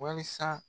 Wasa